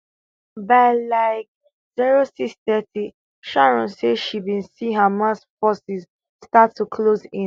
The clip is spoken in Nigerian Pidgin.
by like zero six thirty sharon say she bin see hamas forces start to close in